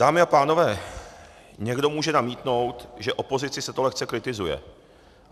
Dámy a pánové, někdo může namítnout, že opozici se to lehce kritizuje.